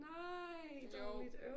Nej dårligt øv